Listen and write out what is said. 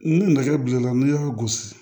Ni nɛgɛ bilenna n'i y'a gosi